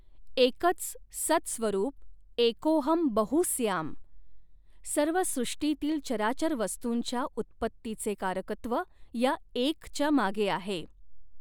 एकच सत् स्वरूप एकोऽहम् बहु स्याम् सर्व सृष्टींतील चराचर वस्तूंच्या उत्पत्तीचें कारकत्व या एक च्या मागेआहे.